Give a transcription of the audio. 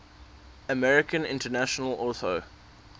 american international auto